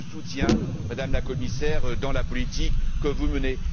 Je vous soutiens, Madame la Commissaire, dans la politique que vous menez.